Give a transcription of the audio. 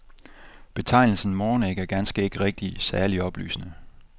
Betegnelsen morgenæg er ganske rigtigt ikke særlig oplysende.